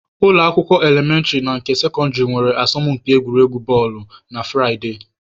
Ụlọ akwụkwọ elementịrị na nke sekọndịrị nwere asọmụmpi egwuregwu bọọlụ na Furaịde.